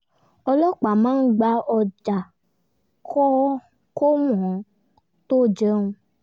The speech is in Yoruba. ọlọ́pàá máa ń gba ọjà kó wọ́n tó jẹun